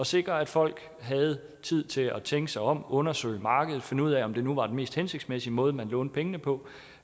sikre at folk havde tid til at tænke sig om undersøge markedet finde ud af om det nu var den mest hensigtsmæssige måde man lånte pengene på